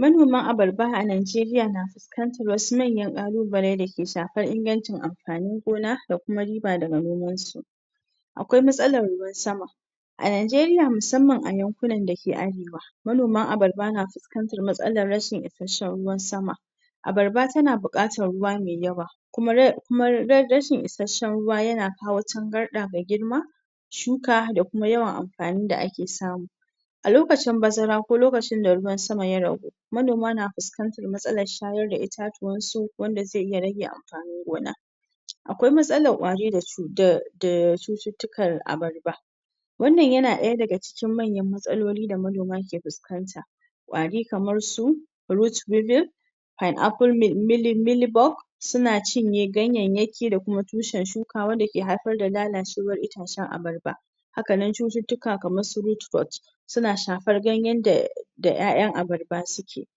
manoma abarba a najeriya na fuskantar manyan ƙalubale da ke shafan ingancin amfanin gona da kuma riba daga nomansu aƙwai matsalar ruwan sama a najeriya musamman a yan kunan dake arewa manoma abarba na fuskantar matsalar rashin ishasshan ruwan sama abarba tana buƙatar ruwa me yawa kuma rashin ishasshan ruwa yana kawo angarɗa me girma shuka da kuma yawan amfanin da ake samu a lokacin baza ra ko lokacin da ruwan sama ya ragu manoma na fuskantar matsalar shayar da itatuwansu wanda zai iya rage amfani gona a ƙ aƙwai matsalar ƙwari da cututtukan abarba a ƙ a ƙ a ƙ ƙ a ƙ a ƙ wannan yana ɗaya daga cikin manyan matsaloli da manoma ke fuskanta ƙwari kamarsu root bibble pineapplemilybulk suna cinye ganyayyaki da kuma tushen shuka wanda ke haifar da lalacewa itatacan abarba hakanan cututtuka kamarsu root but suna shafar ganyan da ƴa'ƴan abarba suke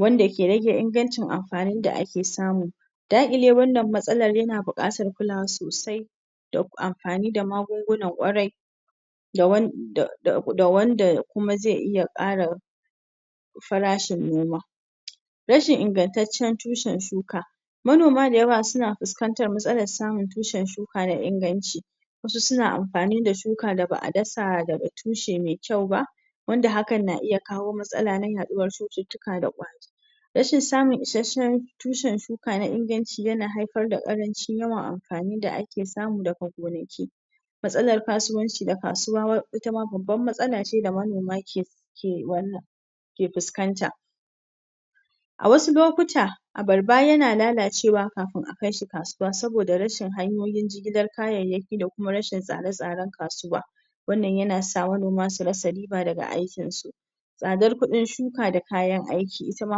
wanda ke rage ingancin amfanin da ake samu daƙile wannan matsalar yana buƙatar kulawa sosai da amfani da magungunan ƙwarai da wanda kuma zai iya ƙara farashin noma rashin ingantatcan tushan shuka manoma da yawa suna fuskantar matsalar samun tushan shuka na inganci wasu suna amfani da shuka da ba a dasa daga tushe me kyau ba wanda hakan na iya kawo matsala na ya ɗuwar cututtuka rashin samun ishasshan tushan shuka na inganci yana haifar da ƙarancin yawan amfani da ake samu daga gonaki matslar kasuwanci da kasuwa ita ma babbar matsala ce da manoma ke wannan ke fuskanta a wasu lokuta abarba yana lalacewa kafin akai shi kasuwa saboda rashin hanyoyin jigilar kayayyaki da kuma rashin tsare tsaran kasuwa wannan yana sa manoma su rasa riba daga aikinsu tsadar kuɗin shuka da kayan aiki ita ma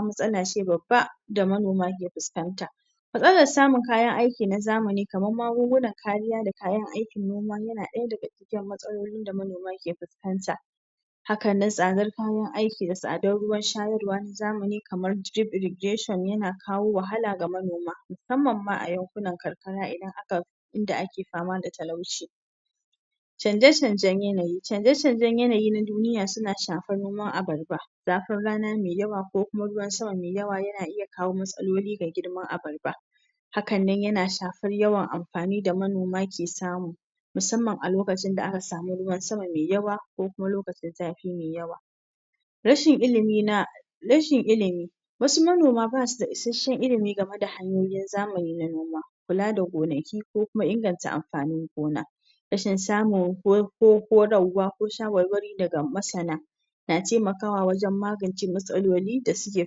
matsala ce babba da manoma ke fuskanta matslar samun kayan aiki na zamani kamar magungunan kariya da kayan aikin noma yana ɗaya daga cikin matsalolin da manoma ke fuskanta hakanan tsadar kayan aiki da tsadar ruwan shayarwa na zamani kamar drip irrigation yana kawo wahala ga manoma musammam ma a yan kunan karkara inda ake fama da talauci canje canjan yanayi canje canjan yanayi na duniya suna shafar nomar abarba zafin rana me yawa ko kuma ruwan sama me yawa yana iya kawo matsaloli ga girman abarba hakan nan yana shafar yawan amfani da manoma ke samu musamman a lokacin da aka samu ruwan sama me yawa ko kuma lokacin zafi me yawa rashin ilimi wasu manoma basu da ishasshan ilimi game da hanyoyin zamani na noma kula da gonaki ko kuma inganta amfanin gona rashin samun horarwa ko shawarwari daga masana na taimakawa wajan magance matsaloli da suke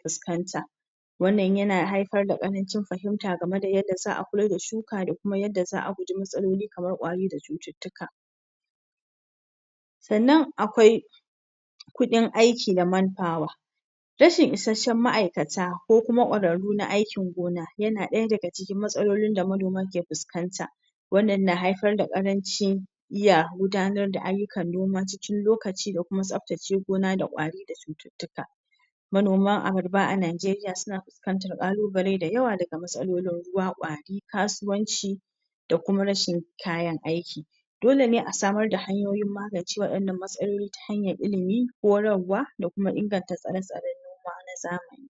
fuskanta wannan yana haifar da ƙarancin fahimta game da yanda za a kula da shuka da kuma yadda guje matsaloli kamar ƙwayoyi da cututtuka sannan aƙwai kudin aiki na man power rashin isasshan ma'aikata ko kuma ƙwararru na aikin gona yana ɗaya daga cikin matsalolin da manoman ke fuskanta wannan na haifar da karancin iya gudanar da aiyukan noma cikin lokaci da kuma tsaftace gona da ƙwari da cututtuka manoman abarba a najeriya suna fuskantar ƙalubale da yawa daga matsalolin ruwa kwari kasuwanci da kuam rashin kayan aiki dole ne a samar da hanyoyin magance waɗannan matsaloli ta hanyar ilimi horarwa da kuma inganta tsare tsaran ruwa na zamani